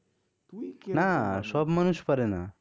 না সব মানুষ পারে না